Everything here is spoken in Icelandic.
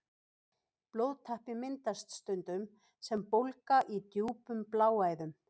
Blóðtappi myndast stundum sem bólga í djúpum bláæðum.